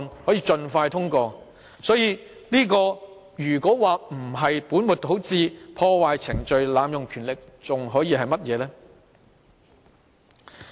所以，如果說這樣不是本末倒置、破壞程序及濫用權力，還可以是甚麼？